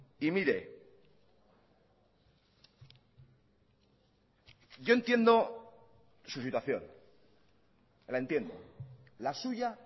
y mire yo entiendo su situación la entiendo la suya